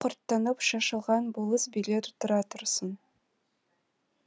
өзі құрттанып шашылған болыс билер тұра тұрсын